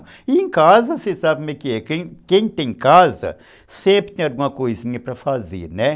E em casa, você sabe como é que é. Quem tem casa, sempre tem alguma coisinha para fazer, né?